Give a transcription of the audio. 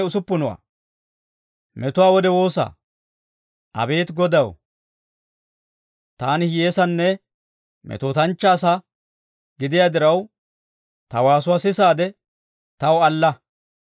Abeet Godaw, taani hiyyeessanne, metootanchchaa asaa gidiyaa diraw, ta waasuwaa sisaade, taw alla.